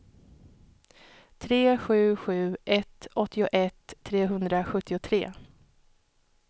tre sju sju ett åttioett trehundrasjuttiotre